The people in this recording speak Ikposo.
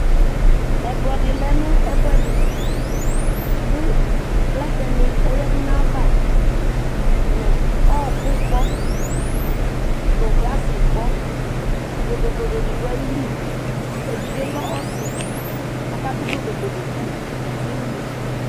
ɛkplɔ di lɛ nu ɛfu ɛdi ku plɛtɛ ni ɔyadu nu ayiʋ ava nu ɔɔku gbɔ, nu glasi gbɔBlodoblodo di du ayili evidzee lɛ ɔsi ɔkadu blodoblodo ku uluvi yɛ nu unuku